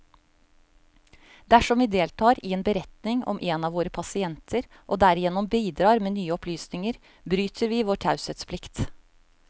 Dersom vi deltar i en beretning om en av våre pasienter, og derigjennom bidrar med nye opplysninger, bryter vi vår taushetsplikt.